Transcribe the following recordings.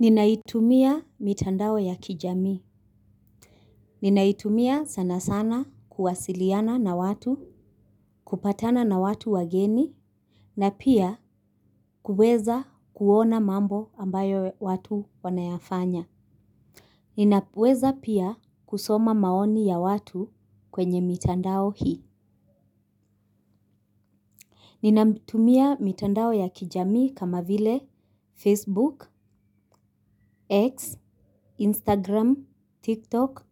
Ninaitumia mitandao ya kijamii. Ninaitumia sana sana kuwasiliana na watu. Kupatana na watu wageni. Na pia kuweza kuona mambo ambayo watu wanayafanya ninaweza pia kusoma maoni ya watu kwenye mitandao hii. Ninatumia mitandao ya kijamii kama vile Facebook, X, Instagram, TikTok.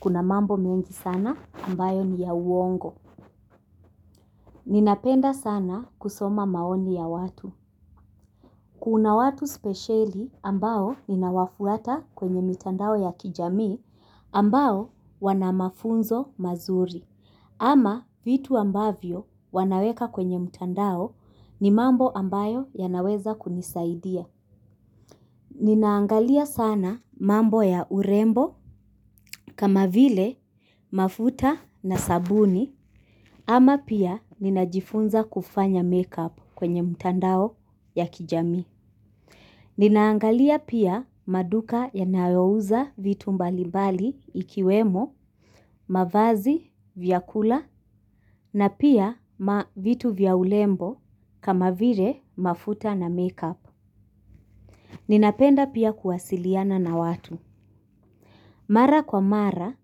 Kuna mambo mengi sana ambayo ni ya uongo. Ninapenda sana kusoma maoni ya watu kuna watu spesheli ambao ninawafuata kwenye mitandao ya kijamii ambao wanamafunzo mazuri. Ama vitu ambavyo wanaweka kwenye mtandao ni mambo ambayo yanaweza kunisaidia. Ninaangalia sana mambo ya urembo kama vile mafuta na sabuni. Ama pia ninajifunza kufanya make-up kwenye mtandao ya kijamii. Ninaangalia pia maduka yanayouza vitu mbalibali ikiwemo, mavazi, vyakula na pia ma vitu vya urembo kama vile mafuta na make-up. Ninapenda pia kuwasiliana na watu. Mara kwa mara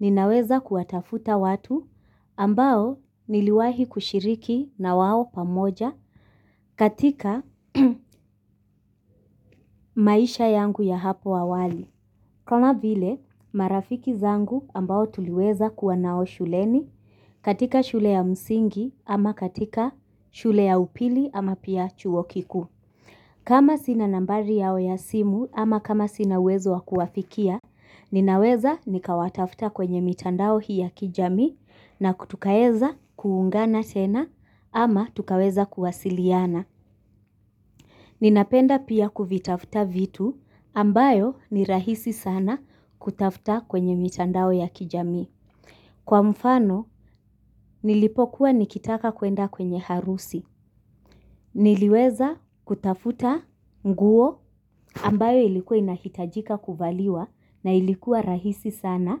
ninaweza kuwatafuta watu ambao niliwahi kushiriki na wao pamoja katika maisha yangu ya hapo awali. Kama vile marafiki zangu ambao tuliweza kuwa nao shuleni katika shule ya msingi ama katika shule ya upili ama pia chuo kikuu. Kama sina nambari yao ya simu ama kama sina uwezo wa kuwafikia, ninaweza nikawatafta kwenye mitandao hii ya kijamii na kutukaeza kuungana tena ama tukaweza kuwasiliana. Ninapenda pia kuvitafta vitu ambayo ni rahisi sana kutafta kwenye mitandao ya kijamii. Kwa mfano, nilipokuwa nikitaka kwenda kwenye harusi. Niliweza kutafuta nguo ambayo ilikuwa inahitajika kuvaliwa na ilikuwa rahisi sana,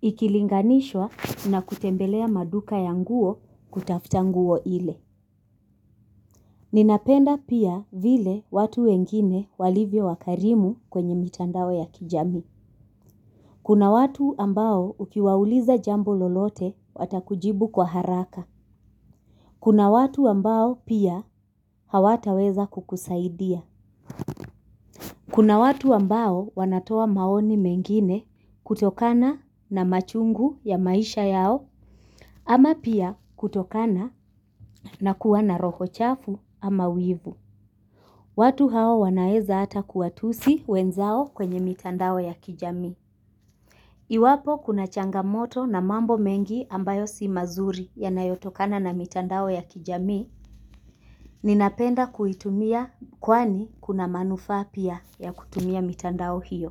ikilinganishwa na kutembelea maduka ya nguo kutafuta nguo ile. Ninapenda pia vile watu wengine walivyo wakarimu kwenye mitandao ya kijamii. Kuna watu ambao ukiwauliza jambo lolote watakujibu kwa haraka. Kuna watu ambao pia hawataweza kukusaidia. Kuna watu ambao wanatoa maoni mengine kutokana na machungu ya maisha yao ama pia kutokana na kuwa na roho chafu ama wivu. Watu hao wanaeza hata kuwatusi wenzao kwenye mitandao ya kijamii. Iwapo kuna changamoto na mambo mengi ambayo si mazuri yanayotokana na mitandao ya kijamii, ninapenda kuitumia kwani kuna manufaa pia ya kutumia mitandao hiyo.